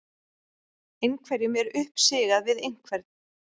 Einhverjum er uppsigað við einhvern